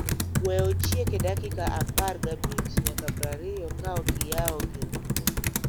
Wee ochiek e dakika apar gabich nyaka prariyo kaokiyau gir umo